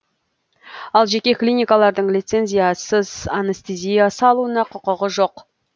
ал жеке клиникалардың лицензиясыз анестезия салуына құқығы жоқ